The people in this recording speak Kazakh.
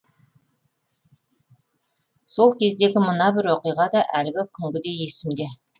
сол кездегі мына бір оқиға да әлі күнгідей есімде